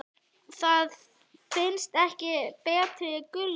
Það finnst ekki betri gulrót.